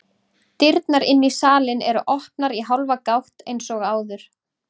Dyrnar inn í salinn eru opnar í hálfa gátt eins og áður.